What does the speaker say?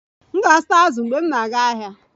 M ga-azụta azụ mgbe m na-aga ahịa